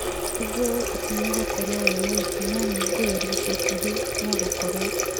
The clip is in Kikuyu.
Nĩnjũĩ atĩ nĩũgũkorwo wĩ mũritũ no nĩngũgeria ica ikuhĩ, no gũkorwo